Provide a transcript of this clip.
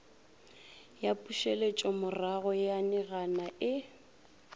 ya pušetšomorago ya ninaga e